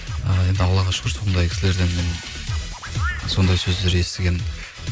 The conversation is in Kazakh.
і енді аллаға шүкір сондай кісілерден мен сондай сөздер естіген